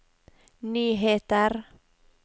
nyheter